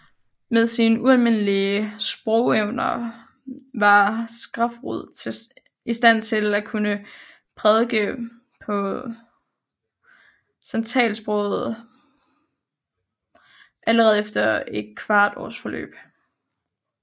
Med sine ualmindelige sprogevner var Skrefsrud i stand til at kunne prædike på santalsproget allerede efter et kvart års forløb